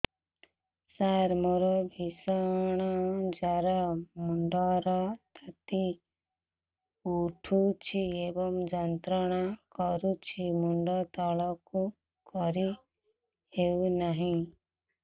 ସାର ମୋର ଭୀଷଣ ଜ୍ଵର ମୁଣ୍ଡ ର ତାତି ଉଠୁଛି ଏବଂ ଯନ୍ତ୍ରଣା କରୁଛି ମୁଣ୍ଡ ତଳକୁ କରି ହେଉନାହିଁ